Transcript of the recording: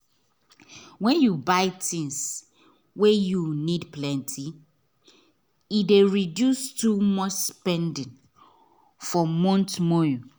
when you buy things wey you need plenty e dey reduce too much spending for month monye